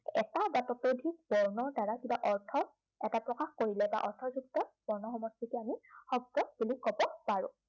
এটা বা তাতোধিক বৰ্ণৰ দ্বাৰা কিবা অৰ্থ এটা প্ৰকাশ কৰিলে বা অৰ্থযুক্ত বৰ্ণ সমষ্টিকে আমি শব্দ বুলি ক'ব পাৰো। বা